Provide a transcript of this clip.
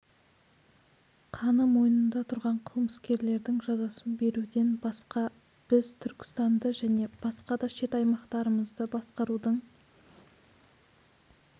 қаны мойнында тұрған қылмыскерлердің жазасын беруден басқа біз түркістанды және басқа да шет аймақтарымызды басқарудың